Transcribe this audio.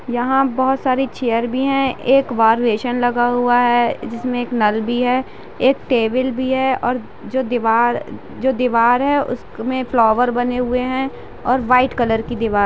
यहाँ बोहोत सारी चेयर भी है। एक वार वेषन लगा हुआ है जिस में एक नल भी है। एक टेबिल भी है और जो दीवार जो दीवार है। उस में फ्लॉवर बने हुए है और वाइट कलर की दीवा--